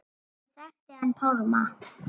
Ég þekkti hann Pálma.